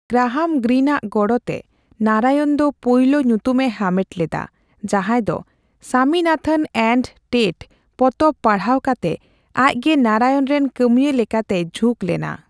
Graham ᱜᱨᱤᱱᱼᱟᱜ ᱜᱚᱲᱚᱛᱮ ᱱᱟᱨᱟᱭᱚᱱ ᱫᱚ ᱯᱩᱭᱞᱩ ᱧᱩᱛᱩᱢᱮ ᱦᱟᱢᱮᱴ ᱞᱮᱫᱟ, ᱡᱟᱸᱦᱟᱭ ᱫᱚ ''ᱥᱟᱢᱤᱱᱟᱛᱷᱚᱱ ᱮᱱᱰ ᱴᱮᱴ'' ᱯᱚᱛᱚᱵ ᱯᱟᱲᱦᱟᱣ ᱠᱟᱛᱮ ᱟᱡᱜᱮ ᱱᱟᱨᱟᱭᱚᱱ ᱨᱮᱱ ᱠᱟᱹᱢᱤᱭᱟᱹ ᱞᱮᱠᱟᱛᱮᱭ ᱡᱷᱩᱸᱠ ᱞᱮᱱᱟ ᱾